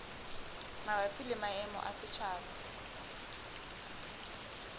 mabapi le maemo a setjhaba